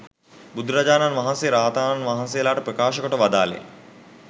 බුදුරජාණන් වහන්සේ රහතන් වහන්සේලාට ප්‍රකාශ කොට වදාළේ